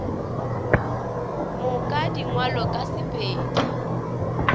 moka di ngwalwe ka sepedi